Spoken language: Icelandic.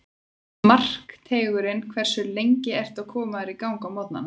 Markteigurinn Hversu lengi ertu að koma þér í gang á morgnanna?